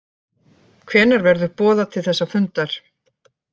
Hvenær verður boðað til þessa fundar